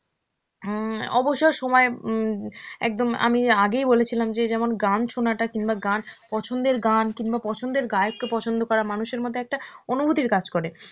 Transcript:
হমম অবসর সময় উম একদম আমি আগেই বলেছিলাম যে, যেমন গান শোনা টা কিংবা গান~ পছন্দের গান কিংবা পছন্দের গায়ক কে পছন্দ করা, মানুষের মধ্যে একটা অনুভূতির কাজ করে.